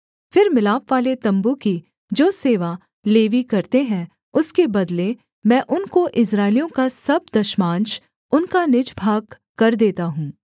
फिर मिलापवाले तम्बू की जो सेवा लेवी करते हैं उसके बदले मैं उनको इस्राएलियों का सब दशमांश उनका निज भागकर देता हूँ